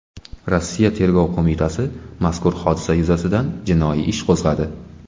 Rossiya Tergov qo‘mitasi mazkur hodisa yuzasidan jinoiy ish qo‘zg‘adi.